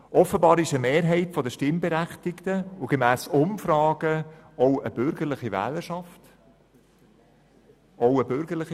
Offenbar ist eine Mehrheit der Stimmberechtigten der Ansicht, dass im Energiebereich mehr getan werden sollte.